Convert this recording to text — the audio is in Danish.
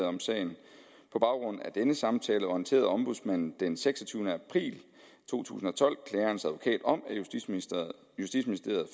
om sagen på baggrund af denne samtale orienterede ombudsmanden den seksogtyvende april to tusind og tolv klagerens advokat om at justitsministeriet